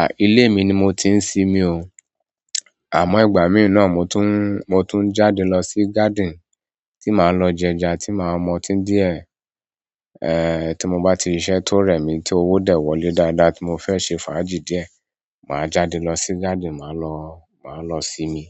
À, ilé mi ni mo ti ń sinmi o. Àmọ́ ìgbà mí ì náà mo tún, mo tún ń jáde lọ sí garden tí màá lọ jẹja, tí màá mọtín díẹ̀. Ehn, tí mo bá ti rí iṣẹ́ tó rẹ̀ mí tí owó dẹ̀ wọlé dáadáa tí mo fẹ́ ṣe fàájì díẹ̀. Maa jáde lo si garden maa lo sinmi